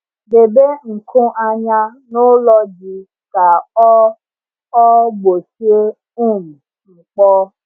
Debe nkụ anya n’ụlọ ji ka ọ ọ gbochie um mkpọ.